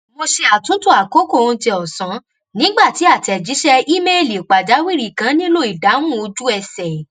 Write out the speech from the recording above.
mo ṣe àtúntò àkókò oúnjẹ ọ̀sán nígbà tí àtẹ̀jíṣẹ ímeèlì pàjáwìrì kan nílò ìdáhùn ojú ẹsẹ̀